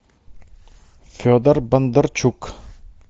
федор бондарчук